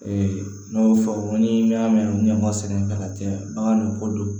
n'a y'o fɔ ni y'a mɛn sɛnɛ ka caya bagan nin ko do